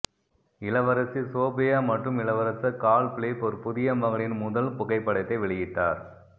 இளவரசி சோபியா மற்றும் இளவரசர் கார்ல் பிலிப் ஒரு புதிய மகனின் முதல் புகைப்படத்தை வெளியிட்டார்